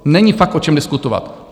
Není fakt o čem diskutovat.